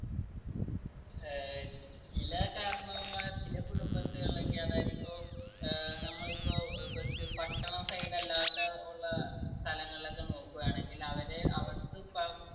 ഏർ ചില കാരണവർമാര് ചില കുടുംബത്തിലൊക്കെ അതായത് ഇപ്പൊ ഏർ നമ്മളിപ്പോ പട്ടണം side അല്ലാത്ത ഉള്ള സ്ഥലങ്ങളൊക്കെ നോക്കുവാണെങ്കിൽ അവര് അവർക്ക് ഇപ്പോ